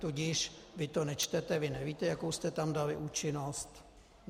Tudíž vy to nečtete, vy nevíte, jakou jste tam dali účinnost.